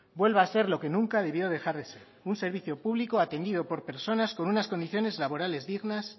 vuelva a ser lo que nunca debió dejar de ser un servicio público atendido por personas con unas condiciones laborales dignas